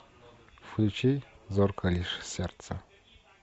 включи зорко лишь сердце